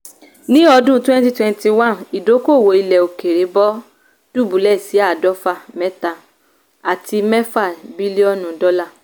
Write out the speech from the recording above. ni ọdún 2021 idokowo ilẹ̀-òkèèrè bọ̀ dúbúlẹ̀ sí adofa mẹta àti mẹfa bílíò̀nù dola.